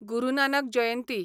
गुरू नानक जयंती